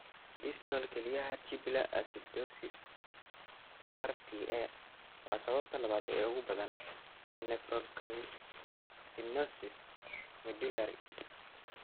Distal kelyaha tubular acidosis (RTA) waa sababta labaad ee ugu badan ee nephrocalcinosis medullary.